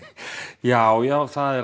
já já það er